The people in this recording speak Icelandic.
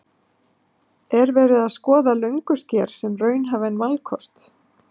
En er verið að skoða Löngusker sem raunhæfan valkost?